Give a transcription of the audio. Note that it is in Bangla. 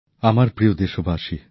নতুনদিল্লি ২৮শে মার্চ ২০২১